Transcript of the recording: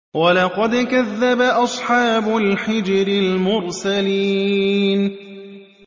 وَلَقَدْ كَذَّبَ أَصْحَابُ الْحِجْرِ الْمُرْسَلِينَ